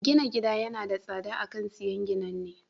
Gina gida yana da tsada a kan siyan ginanne.